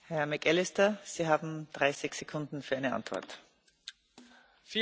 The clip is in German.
Gerne nehme ich eine Frage meines schottischen Landsmanns zumindest zu fünfzig Prozent an.